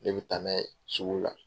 Ne bɛ taa n'a ye sugu la.